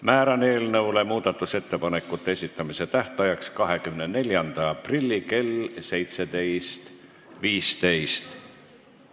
Määran eelnõu muudatusettepanekute esitamise tähtajaks 24. aprilli kell 17.15.